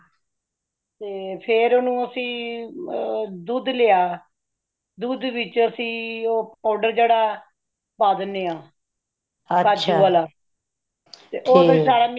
ਫੇਰ ਓਨੁ ਅਸੀ ਦੁੱਧ ਲਿਆ , ਦੁੱਧ ਵਿਚ ਅਸੀ ਉਹ powder ਜੇੜਾ , ਪਾ ਦੇਂਦੇ ਹੈ ਕਾਜੁ ਵਾਲਾ ਉਹ powder mix